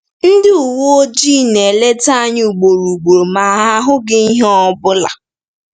Ndị uwe ojii na-eleta anyị ugboro ugboro ma ha ahụghị ihe ọ bụla.